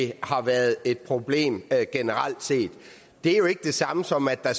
det har været et problem generelt set det er jo ikke det samme som at der